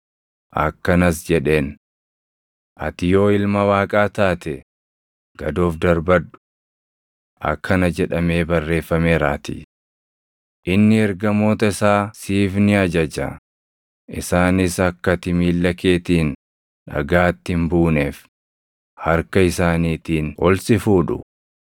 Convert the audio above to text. Akkanas jedheen; “Ati yoo Ilma Waaqaa taate, gad of darbadhu. Akkana jedhamee barreeffameeraatii: “ ‘Inni ergamoota isaa siif ni ajaja; isaanis akka ati miilla keetiin dhagaatti hin buuneef, harka isaaniitiin ol si fuudhu.’ + 4:6 \+xt Far 91:11,12\+xt*”